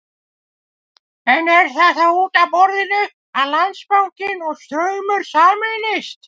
En er þá út af borðinu að Landsbankinn og Straumur sameinist?